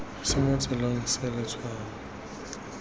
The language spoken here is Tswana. se mo tseleng se letshwao